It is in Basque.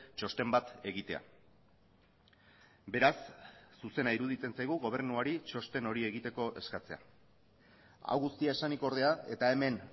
txosten bat egitea beraz zuzena iruditzen zaigu gobernuari txosten hori egiteko eskatzea hau guztia esanik ordea eta hemen